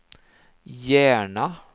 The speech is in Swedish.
Järna